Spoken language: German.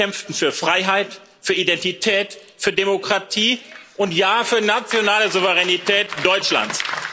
Sie kämpften für Freiheit, für Identität, für Demokratie und ja für die nationale Souveränität Deutschlands.